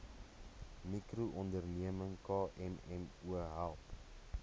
mikroonderneming kmmo help